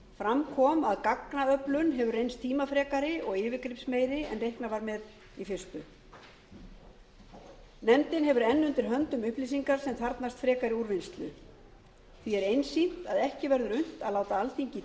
fram kom að gagnaöflun hefur reynst tímafrekari og yfirgripsmeiri en reiknað var með í fyrstu nefndin hefur enn undir höndum upplýsingar sem þarfnast frekari úrvinnslu því er einsýnt að ekki verður unnt að láta alþingi í